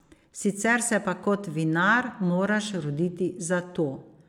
Sicer se pa kot vinar, moraš roditi za to.